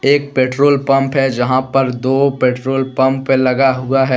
एक petrol pump है जहां पर दो पेट्रोल पंप लगा हुआ है।